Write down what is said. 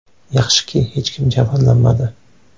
Yaxshiki, hech kim jabrlanmadi.